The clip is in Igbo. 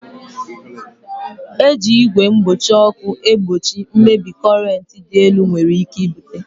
E ji igwe mgbochi ọkụ egbochi mmebi korent dị elu nwere ike ibute